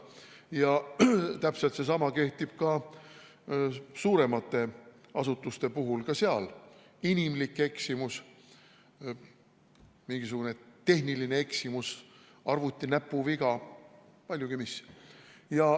Täpselt sama kehtib ka suuremate asutuste puhul, sealgi esineb inimlikke eksimusi, tehnilisi eksimusi, näpuvigu, paljutki mis.